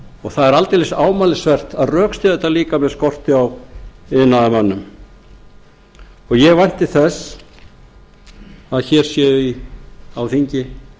og það er aldeilis ámælisvert að rökstyðja þetta líka með skorti á iðnaðarmönnum og ég vænti þess að hér séu á þingi